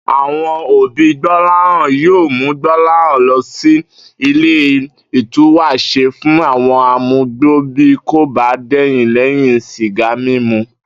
Àwo̩n òbí Gbó̩láhàn yóò mú Gbó̩láhàn lo̩ sí ile ìtúwàs̩e fún àwo̩n amugbó bí kò bá dè̩yìn lé̩yìn sìgá mímu